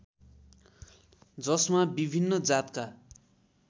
जसमा विभिन्न जातका